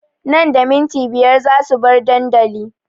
Nan da minti biyar za su bar dandali